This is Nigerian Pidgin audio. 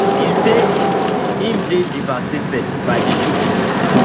im say im dey devastated by di shooting